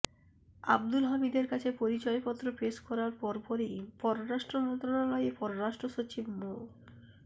আবদুল হামিদের কাছে পরিচয়পত্র পেশ করার পরপরই পররাষ্ট্র মন্ত্রণালয়ে পররাষ্ট্রসচিব মো